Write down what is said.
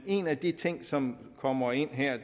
en af de ting som kommer ind her